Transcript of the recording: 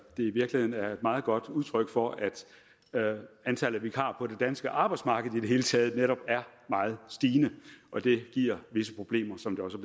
i virkeligheden er meget godt udtryk for at antallet af vikarer på det danske arbejdsmarked i det hele taget netop er meget stigende og det giver visse problemer som det også